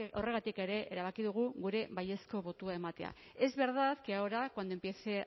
horregatik ere erabaki dugu gure baiezko botoa ematea es verdad que ahora cuando empiece